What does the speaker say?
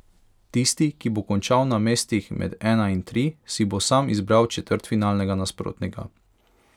Tisti, ki bo končal na mestih med ena in tri, si bo sam izbral četrtfinalnega nasprotnika.